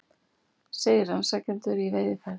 Segir rannsakendur í veiðiferð